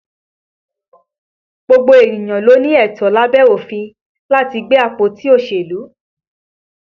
Gbogbo ènìyàn ló ní ẹ̀tọ́ lábẹ́ òfin láti gbé àpótí òṣèlú